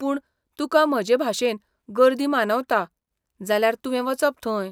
पूण, तुका म्हजेभाशेन गर्दी मानवता, जाल्यार तुवें वचप थंय.